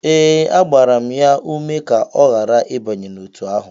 Ee, agbara m ya ume ka ọ ghara ịbanye n'otu ahụ